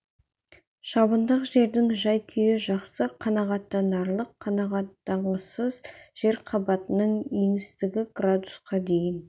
шабындық жердің жай-күйі жақсы қанағаттанарлық қанағаттанғысыз жер қабатының еңістігі градусқа дейін